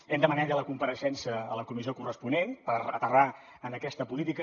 hem demanat ja la compareixença a la comissió corresponent per aterrar en aquesta política